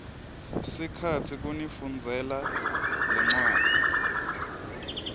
sikhatsi kunifundzela lencwadzi